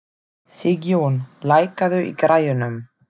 Sigjón, lækkaðu í græjunum.